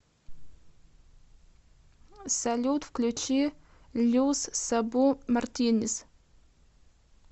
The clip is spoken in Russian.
салют включи люс сабу мартинез